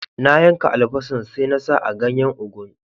Na yanka albasan, sai na sa a ganyen ugu'n.